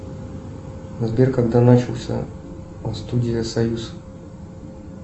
сбер когда начался студия союз